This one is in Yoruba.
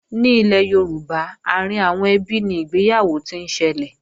Ní ilẹ̀ Yorùbá, àárín àwọn ẹbí ni ìgbéyàwó ti ń ṣẹlẹ̀